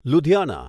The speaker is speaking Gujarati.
લુધિયાના